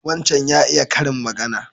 Wancan ya iya karin magana.